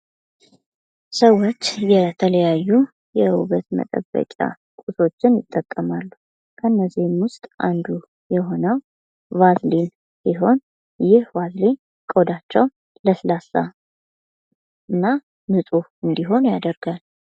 ሰዎች የተለያዩ የውበት መጠበቂያ ቁሶችን ይጠቀማሉ። ከነዚህም ውስጥ አንዱ የሆነው ባልዚን ሲሆን ይህ ባልዚን ቆዳቸው ለስላሳ እና ንጹሕ እንድሆን ያደርጋል።